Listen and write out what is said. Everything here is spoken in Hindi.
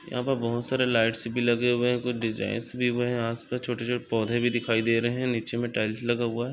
यहाँ पर बहुत सारे लाइटस भी लगे हुए है। कुछ डिजाइनस यहाँ छोटे-छोटे पौधे भी दिखाई दे रहे है। नीचे मे टाइल्स लगा हुआ है।